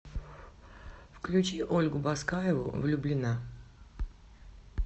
включи ольгу баскаеву влюблена